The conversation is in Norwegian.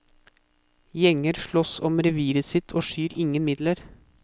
Gjenger slåss om reviret sitt og skyr ingen midler.